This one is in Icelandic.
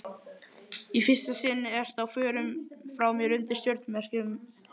Í fyrsta sinn ertu á förum frá mér undir stjörnumerkjum.